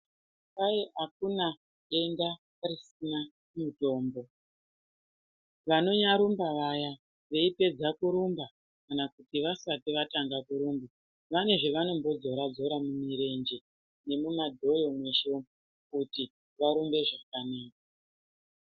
Kwai akuna denda risina mitombo, vanonyarumba vaya, veipedza kurumba kana kuti vasati vatanga kurumba, vane zvevanondo dzora dzora mumirenje, nemumadhoyo mweshe umwu kuti varumbe zvakanaka.